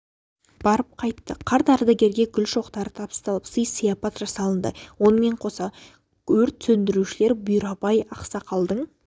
барып қайтты қарт ардагерге гүл шоқтары табысталып сый-сияпат жасалынды онымен қоса өрт сөндірушілер бұйрабай ақсақалдың